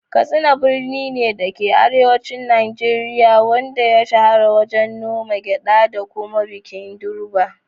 Katsina birni ne, da ke arewacin Najeriya, wanda ya shahara wajen noman gyada da kuma bikin Durbar.